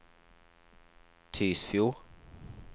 Tysfjord